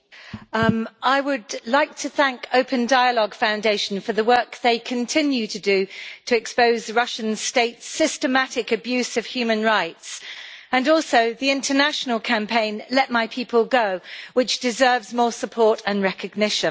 Mr President, I would like to thank Open Dialogue Foundation for the work they continue to do to expose the Russian State's systematic abuse of human rights, and also the international campaign Let My People Go, which deserves more support and recognition.